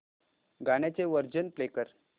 गाण्याचे version play कर